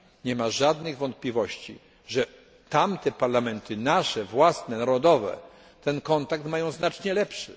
Nie ma wątpliwości, że tamte parlamenty, nasze, własne, narodowe ten kontakt mają znacznie lepszy.